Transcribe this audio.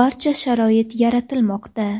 barcha sharoit yaratilmoqda.